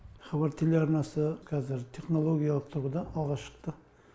хабар телеарнасы қазір технологиялық тұрғыда алға шықты